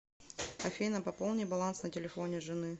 афина пополни баланс на телефоне жены